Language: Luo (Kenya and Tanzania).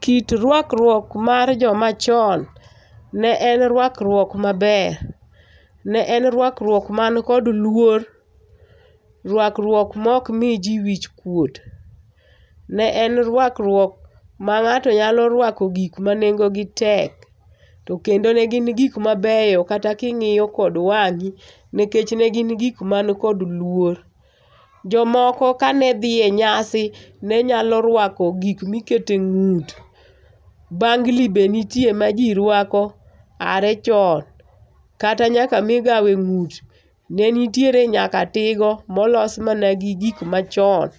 Kit rwakruok mar jomachon ne en rwakruok maber, ne en rwakruok man kod luor, ruakruok ma ok miji wichkuot. Ne en rwakruok ma ng'ato nyalo ruako gik manengo gi tek to kendo ne gin gik mabeyo kata king'iyo kod wang'i nikech ne gin gik man kod luor. Jomoko kane dhi e nyasi ne nyalo ruako gik ma iketo e ng'ut, bangli be nitie maji ruako aye chon, kata nyaka migawo e ng'ut nenitiere nyaka tigo molos mana gi gik machon.